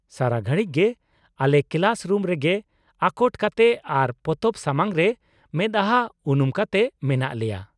-ᱥᱟᱨᱟ ᱜᱷᱟᱲᱤᱡ ᱜᱮ ᱟᱞᱮ ᱠᱮᱞᱟᱥ ᱨᱩᱢ ᱨᱮᱜᱮ ᱟᱠᱚᱴ ᱠᱟᱛᱮ ᱟᱨ ᱯᱚᱛᱚᱵ ᱥᱟᱢᱟᱝ ᱨᱮ ᱢᱮᱫᱟ ᱦᱟᱸ ᱩᱱᱩᱢ ᱠᱟᱛᱮ ᱢᱮᱱᱟᱜ ᱞᱮᱭᱟ ᱾